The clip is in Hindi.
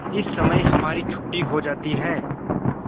इस समय हमारी छुट्टी हो जाती है